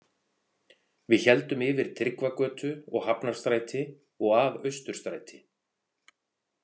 Við héldum yfir Tryggvagötu og Hafnarstræti og að Austurstræti.